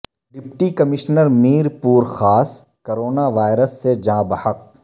deputy commissioner Mirpur Khas corona virus سے جاں بحق